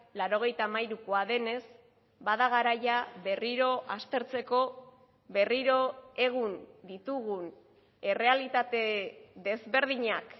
laurogeita hamairukoa denez bada garaia berriro aztertzeko berriro egun ditugun errealitate desberdinak